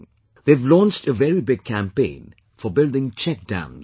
They have launched a very big campaign for building 'Check Dams'